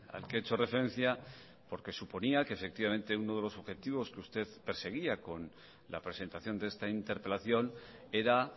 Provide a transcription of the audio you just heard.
al que he hecho referencia porque suponía que efectivamente uno de los objetivos que usted perseguía con la presentación de esta interpelación era